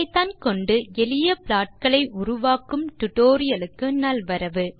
ஐபிதான் கொண்டு எளிய ப்லாட்களை உருவாக்கும் டியூட்டோரியல் க்கு நல்வரவு